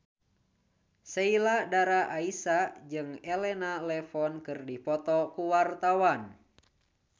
Sheila Dara Aisha jeung Elena Levon keur dipoto ku wartawan